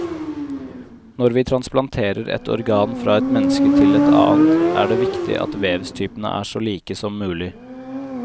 Når vi transplanterer et organ fra et menneske til et annet, er det viktig at vevstypene er så like som mulig.